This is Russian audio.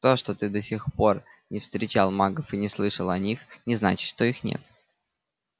то что ты до сих пор не встречал магов и не слышал о них не значит что их нет